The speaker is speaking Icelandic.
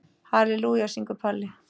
Halelúja, syngur Palli.